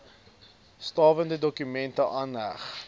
stawende dokumente aangeheg